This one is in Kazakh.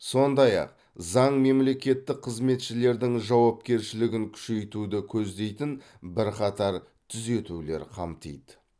сондай ақ заң мемлекеттік қызметшілердің жауапкершілігін күшейтуді көздейтін бірқатар түзетулер қамтиды